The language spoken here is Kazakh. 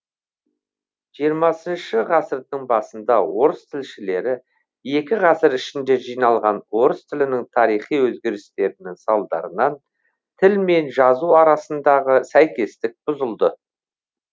жиырмасыншы ғасырдың басында орыс тілшілері екі ғасыр ішінде жиналған орыс тілінің тарихи өзгерістерінің салдарынан тіл мен жазу арасындағы сәйкестік бұзылды